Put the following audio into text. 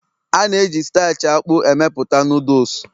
A na-eji starch akpu amepụta Noodles